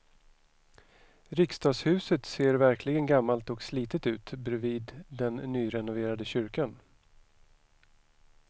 Riksdagshuset ser verkligen gammalt och slitet ut bredvid den nyrenoverade kyrkan.